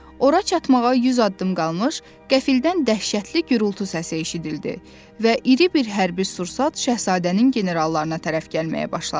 Ora çatmağa 100 addım qalmış, qəfildən dəhşətli gurultu səsi eşidildi və iri bir hərbi sursat Şahzadənin generallarına tərəf gəlməyə başladı.